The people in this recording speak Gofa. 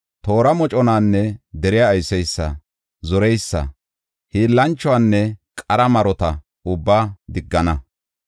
toora moconanne deriya ayseysa, zoreysa, hiillanchuwanne qara marota ubbaa diggana.